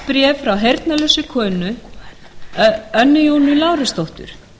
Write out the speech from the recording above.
barst bréf frá heyrnarlausri konu önnu jónu lárusdóttur